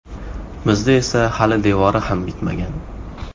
Bizda esa hali devori ham bitmagan.